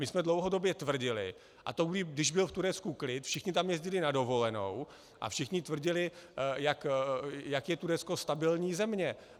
My jsme dlouhodobě tvrdili - a to i když byl v Turecku klid, všichni tam jezdili na dovolenou a všichni tvrdili, jak je Turecko stabilní země.